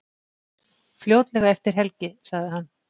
Fljótlega eftir helgi, sagði hann.